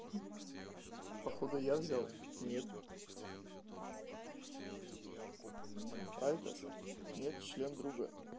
походу я взял нет айкос нет член друга